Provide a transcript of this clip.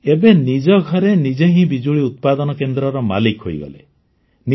ଏବେ ନିଜ ଘରେ ନିଜେ ହିଁ ବିଜୁଳି ଉତ୍ପାଦନ କେନ୍ଦ୍ରର ମାଲିକ ହେଇଗଲେ ନିଜ